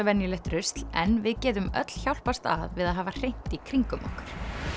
venjulegt rusl en við getum öll hjálpast að við að hafa hreint í kringum okkur